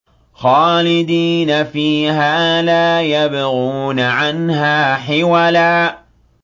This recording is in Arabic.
خَالِدِينَ فِيهَا لَا يَبْغُونَ عَنْهَا حِوَلًا